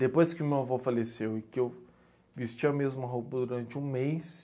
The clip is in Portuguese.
Depois que o meu avô faleceu e que eu vesti a mesma roupa durante um mês...